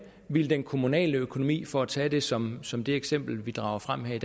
ville den kommunale økonomi for at tage det som som det eksempel vi drager frem her